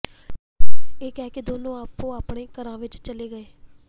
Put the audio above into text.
ਇਹ ਕਹਿ ਕੇ ਦੋਨੋਂ ਆਪੋ ਆਪਣੇ ਘਰਾਂ ਨੂੰ ਚਲੇ ਗਏ